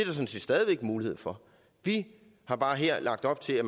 sådan set stadig væk mulighed for vi har bare her lagt op til at